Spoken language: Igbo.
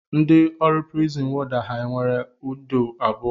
Ndị ọrụ prizin wọda ha nwere ndụ abụọ?